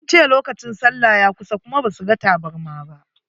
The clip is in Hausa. Sun ce lokacin sallah ya kusa kuma ba su ga tabarma.